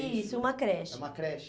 Isso, uma creche. É uma creche.